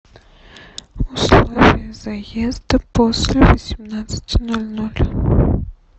условия заезда после восемнадцати ноль ноль